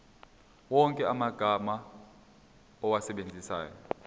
wonke amagama owasebenzisayo